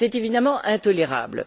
C'est évidemment intolérable.